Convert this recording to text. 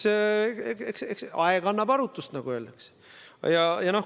No eks aeg annab arutust, nagu öeldakse.